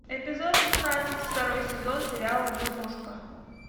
эпизод шестнадцать второй сезон сериала дурнушка